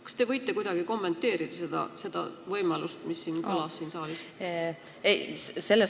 Kas te võite kuidagi kommenteerida seda võimalust, mis siin saalis kõlas?